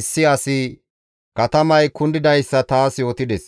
issi asi katamay kundidayssa taas yootides.